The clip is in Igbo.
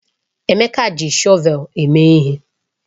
Emeka ji shọvel eme ihe.